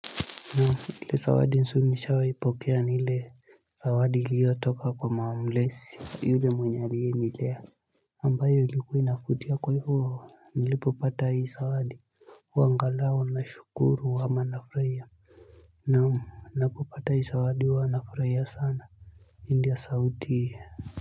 Ili sawadi nsu nisha waipokea nile sawadi ilio toka kwa mawamlesi hile mwenyarii nilea ambayo ilikuina kutia kwe huo nilipopata hii sawadi wa nga lao na shukuru wa manafraya Naam napopata hii sawadi wa manafraya sana India sauti kwa hivyo.